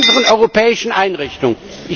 Bei unseren europäischen Einrichtungen.